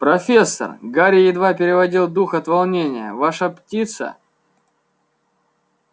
профессор гарри едва переводил дух от волнения ваша птица